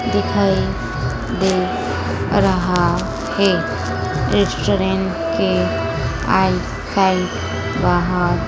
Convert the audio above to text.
दिखाई दे रहा है। एक रेस्टोरेंट के बाहर--